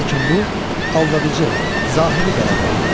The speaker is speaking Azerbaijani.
Lakin bu, aldadıcı, zahiri qələbə olub.